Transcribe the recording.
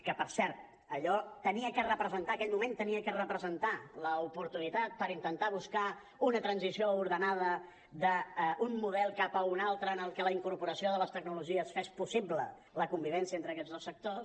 que per cert allò havia de representar aquell moment havia de representar l’oportunitat per intentar buscar una transició ordenada d’un model cap a un altre en el que la incorporació de les tecnologies fes possible la convivència entre aquests dos sectors